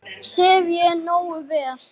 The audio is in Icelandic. Sef ég nógu vel?